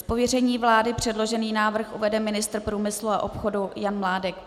Z pověření vlády předložený návrh uvede ministr průmyslu a obchodu Jan Mládek.